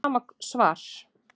Það er sama svar